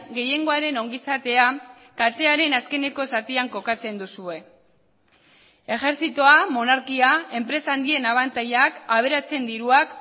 gehiengoaren ongizatea katearen azkeneko zatian kokatzen duzue ejertzitoa monarkia enpresa handien abantailak aberatsen diruak